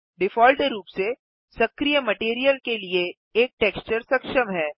default रूप से सक्रिय मटैरियल के लिए एक टेक्सचर सक्षम है